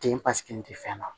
Den pasiki ni te fɛn na